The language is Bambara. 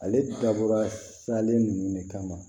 Ale dabɔra salen ninnu de kama